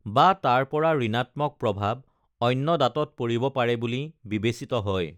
বা তাৰ পৰা ঋনাত্মক প্ৰভাৱ অন্য দাঁতত পৰিব পাৰে বুলি বিবেচিত হয়